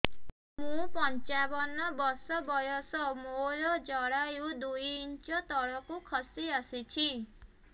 ମୁଁ ପଞ୍ଚାବନ ବର୍ଷ ବୟସ ମୋର ଜରାୟୁ ଦୁଇ ଇଞ୍ଚ ତଳକୁ ଖସି ଆସିଛି